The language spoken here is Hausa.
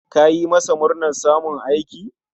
Ka yi masa murnar samun aiki?